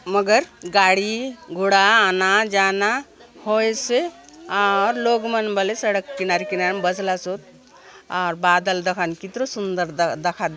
मगर गाड़ी घोड़ा आना जाना होए से आउर लोग मन बले सड़क किनारे किनारे बसलासोत और बादल दखा नु कितरो सुंदर दखा --